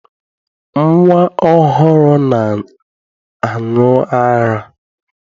Nnwa ọhụrụ na-aṅụ ara.